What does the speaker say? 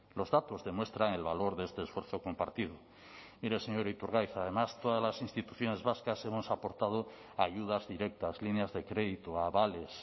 los datos demuestran el valor de este esfuerzo compartido mire señor iturgaiz además todas las instituciones vascas hemos aportado ayudas directas líneas de crédito avales